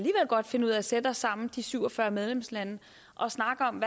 godt finde ud af at sætte os sammen de syv og fyrre medlemslande og snakke om